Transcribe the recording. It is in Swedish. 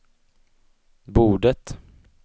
bordet